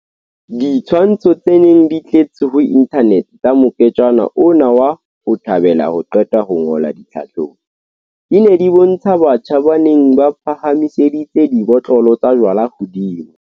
Ditshwantsho tse neng di tletse ho inthanete tsa moketjana ona wa 'ho thabela ho qeta ho ngola ditlhahlobo', di ne di bontsha batjha ba neng ba phahamiseditse dibotlolo tsa jwala hodimo.